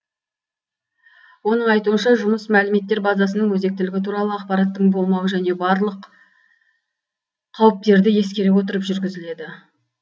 оның айтуынша жұмыс мәліметтер базасының өзектілігі туралы ақпараттың болмауы және т б барлық қауіптерді ескере отырып жүргізіледі